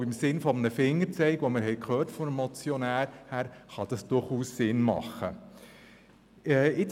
Aber ich denke, ein Fingerzeig, wie es der Postulant genannt hat, kann durchaus sinnvoll sein.